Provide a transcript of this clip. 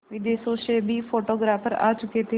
विदेशों से भी फोटोग्राफर आ चुके थे